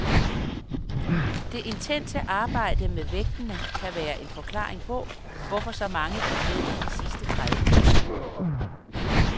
Det intense arbejde med vægtene kan være en forklaring på, hvorfor så mange gik ned i de sidste tredive minutter.